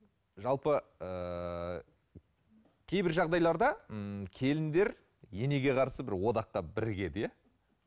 жалпы ыыы кейбір жағдайларда ммм келіндер енеге қарсы бір одаққа бірігеді иә